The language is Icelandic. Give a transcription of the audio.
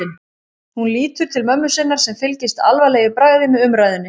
Hún lítur til mömmu sinnar sem fylgist alvarleg í bragði með umræðunni.